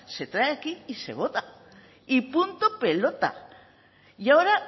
se trae aquí y se vota y punto pelota y ahora